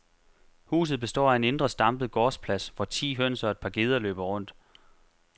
Huset består af en indre stampet gårdsplads, hvor ti høns og et par geder løber rundt.